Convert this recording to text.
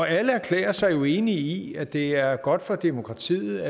alle erklærer sig jo enige i at det er godt for demokratiet